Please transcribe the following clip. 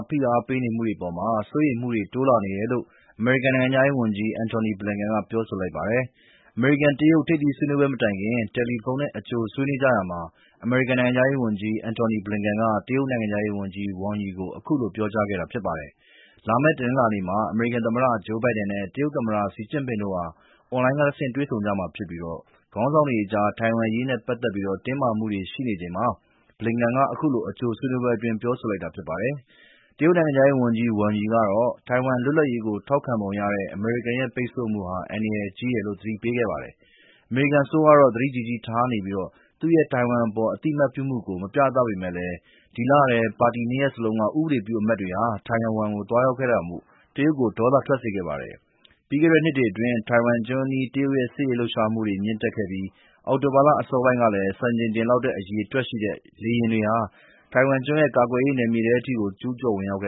ဖိအားပေးနေမှုတွေအပေါ် စိုးရိမ်မှု တိုးလာနေတယ်လို့ အမေရိကန် နိုင်ငံခြာရေးဝန်ကြီး Antony Blinken က ပြောဆိုလိုက်ပါတယ်။ အမေရိကန်-တရုတ် ထိပ်သီးဆွေးနွေးပွဲ မတိုင်ခင် တယ်လီဖုန်းနဲ့ အကြိုဆွေးနွေးကြရာမှာ အမေရိကန် နိုင်ငံခြားရေးဝန်ကြီး Antony Blinken က တရုတ်နိုင်ငံခြားရေးဝန်ကြီး Wang Yi ကို အခုလို ပြောကြားခဲ့တာ ဖြစ်ပါတယ်။ လာမယ့် တနင်္လာနေ့မှာ အမေရိကန်သမ္မတ Joe Biden နဲ့ တရုတ်သမ္မတ Xi Jinping တို့ဟာ အွန်လိုင်းကဆင့် တွေ့ဆုံကြမှာဖြစ်ပြီး ခေါင်းဆောင်တွေအကြား ထိုင်ဝမ်အရေးနဲ့ ပတ်သက်ပြီး တင်းမာမှုတွေ ရှိနေချိန်မှာ Blinken က အခုလို အကြိုဆွေးနွေးပွဲမှာ ပြောဆိုလိုက်တာ ဖြစ်ပါတယ်။ တရုတ်နိုင်ငံခြားရေးဝန်ကြီး Wang Yi ကတော့ ထိုင်ဝမ်လွတ်လပ်ရေးကို ထောက်ခံပုံရတဲ့ အမေရိကန်ရဲ့ ပိတ်ဆို့မှုဟာ အန္တရာယ်ကြီးတယ်လို့ သတိပေးခဲ့ပါတယ်။ အမေရိကန်အစိုးရကတော့ သတိကြီးကြီးထားနေပြီး သူ့ရဲ့ ထိုင်ဝမ်အပေါ် အသိအမှတ်ပြုမှုကို မပြသပေမယ့်လည်း ဒီလထဲ ပါတီနှစ်ရပ်စလုံးက အမတ်တွေ ထိုင်ဝမ်ကို သွားရောက်လည်ပတ်ခဲ့တာမို့ တရုတ်ကို ဒေါသထွက်စေခဲ့ပါတယ်။ ပြီးခဲ့တဲ့နှစ်တွေအတွင်း ထိုင်ဝမ်ကျွန်းအနီး တရုတ်ရဲ့ စစ်ရေးလှုပ်ရှားလာမှုတွေ မြင့်တက်ခဲ့ပြီး အောက်တိုဘာလ အစောပိုင်းမှာလည်း စံချိန်တင်လောက်တဲ့ အရေအတွက်ရှိတဲ့ လေယာဉ်တွေဟာ ထိုင်ဝမ်ကျွန်းရဲ့ ကာကွယ်ရေးနယ်မြေထဲထိ ကျူးကျော် ဝင်ရောက်လာ